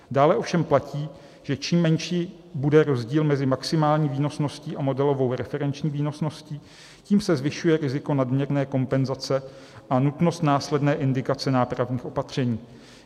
Dále ovšem platí, že čím menší bude rozdíl mezi maximální výnosností a modelovou referenční výnosností, tím se zvyšuje riziko nadměrné kompenzace a nutnost následné indikace nápravných opatření.